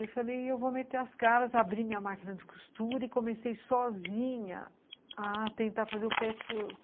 E eu falei, eu vou meter as caras, abri minha máquina de costura e comecei sozinha a tentar fazer o patchwork.